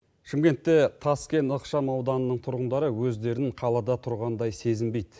шымкентте таскен ықшамауданының тұрғындары өздерін қалада тұрғандай сезінбейді